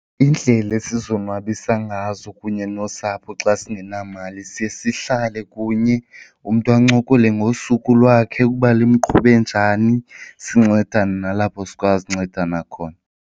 Iindlela esizonwabisa ngazo kunye nosapho xa singenamali siye sihlale kunye umntu ancokole ngosuku lwakhe ukuba lumqhube njani sincedane nalapho sikwazi uncedana khona.